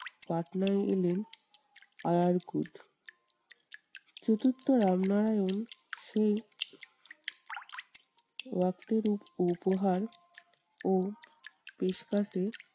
পাটনায় এলেন আরার কুট। চতুর্থ রামনারায়ণ সেই অর্থ রূপ উপহার ও পেশপাসে